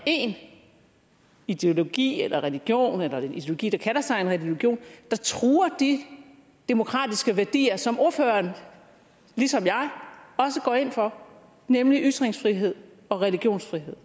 én ideologi eller religion eller ideologi der kalder sig en religion der truer de demokratiske værdier som ordføreren ligesom jeg også går ind for nemlig ytringsfrihed og religionsfrihed